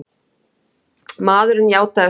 Maðurinn játaði sök.